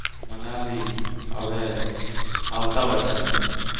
મનાલી હવે આવતા વર્ષે.